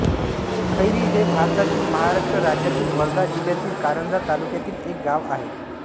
खैरी हे भारतातील महाराष्ट्र राज्यातील वर्धा जिल्ह्यातील कारंजा तालुक्यातील एक गाव आहे